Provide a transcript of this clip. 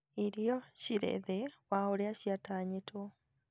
Irio cirĩ thĩ wa ũria ciatanyĩtwo